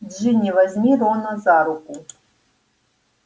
джинни возьми рона за руку